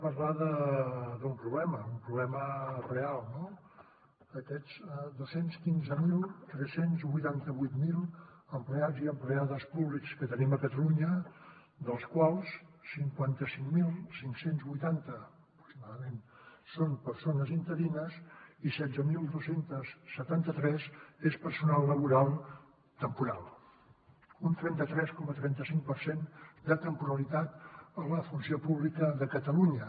parlem d’un problema un problema real no aquests dos cents i quinze mil tres cents i vuitanta vuit empleats i empleades públics que tenim a catalunya dels quals cinquanta cinc mil cinc cents i vuitanta aproximadament són persones interines i setze mil dos cents i setanta tres és personal laboral temporal un trenta tres coma trenta cinc per cent de temporalitat a la funció pública de catalunya